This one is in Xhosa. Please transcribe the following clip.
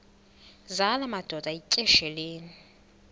zala madoda yityesheleni